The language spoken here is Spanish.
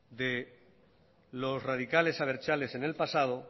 de los radicales abertzales en el pasado